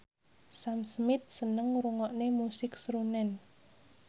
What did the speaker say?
Sam Smith seneng ngrungokne musik srunen